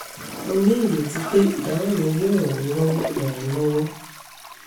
mo ní ìrètí pé ìdáhùn mi yóò ràn yín lọ́wọ́ ràn yín lọ́wọ́